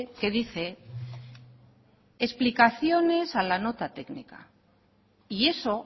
que dice explicaciones a la nota técnica y eso